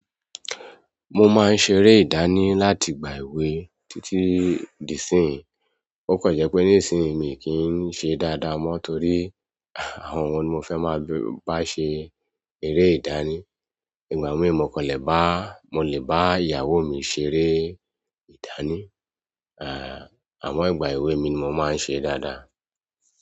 Mo máa ń ṣeré ìdánì láti ìgbà èwe títí di ìsinyí, ó kàn jẹ́ pé nísinyí mi ò kì í ṣe dáadáa mọ́ torí àwọn wo ni mo fẹ́ máa bá ṣe eré ìdánì, ìgbà mi mò kàn lè bá, mo kàn lè bá ìyàwó mi ṣeré. Ìdánì, àwọn ìgbà èwe mi ni mo máa ń sẹ dáadáa.